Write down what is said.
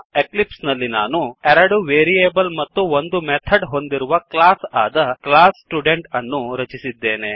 Eclipse ನಲ್ಲಿ ನಾನು ಎರಡು ವೇರಿಯೇಬಲ್ ಮತ್ತು ಒಂದು ಮೆಥಡ್ ಹೊಂದಿರುವ ಕ್ಲಾಸ್ ಆದ ಕ್ಲಾಸ್ ಸ್ಟುಡೆಂಟ್ ಅನ್ನು ರಚಿಸಿದ್ದೇನೆ